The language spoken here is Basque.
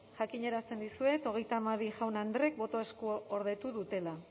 jakinarazten dizuet hogeita hamabi jaun andreek botoa eskuordetu dutela